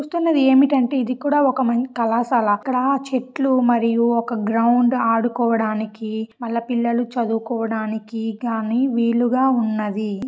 మీరు. చూస్తున్నది ఏమిటంటే ఇది కూడా ఒక మం కళాశాల అక్కడ చెట్లు మరియు ఒక గ్రౌండ్ ఆడుకోవడానికి మల్ల పిల్లలు చదువుకోవడానికి గానీ వీలుగా ఉన్నది.